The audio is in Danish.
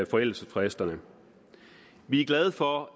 forældelsesfristerne vi er glade for